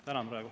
Tänan praegu.